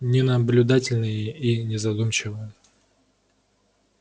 ненаблюдательные и незадумчивые